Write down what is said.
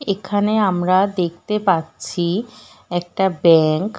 এখানে আমরা দেখতে পাচ্ছি একটা ব্যাঙ্ক --